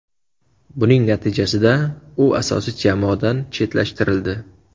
Buning natijasida u asosiy jamoadan chetlashtirildi.